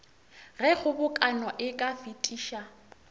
ge kgobokano e ka fetiša